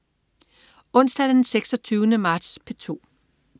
Onsdag den 26. marts - P2: